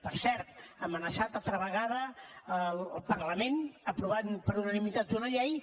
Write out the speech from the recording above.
per cert ha amenaçat altra vegada el parlament aprovant per unanimitat una llei